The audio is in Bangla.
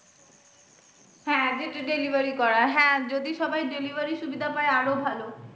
হ্যাঁ যেটা delivery করা হ্যাঁ যদি সবাই delivery র সুবিধা পায় আরো ভালো।